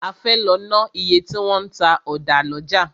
A fẹ́ lọ ná iye tí wọn ń ta ọ̀dà lọ́jà.